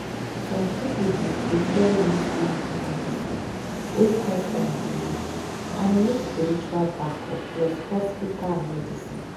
some people dey prefer use leaf medicine wey come from belief and e need spiritual backup plus hospital medicine.